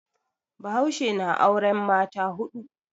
Bahaushe na auren mata hudu.